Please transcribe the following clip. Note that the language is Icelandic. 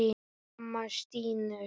Mamma stynur.